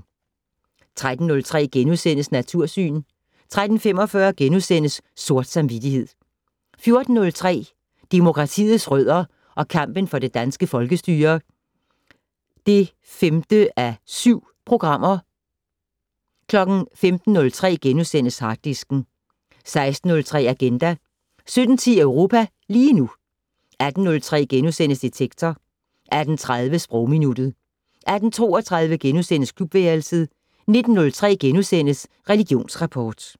13:03: Natursyn * 13:45: Sort samvittighed * 14:03: Demokratiets rødder og kampen for det danske folkestyre (5:7)* 15:03: Harddisken * 16:03: Agenda 17:10: Europa lige nu 18:03: Detektor * 18:30: Sprogminuttet 18:32: Klubværelset * 19:03: Religionsrapport *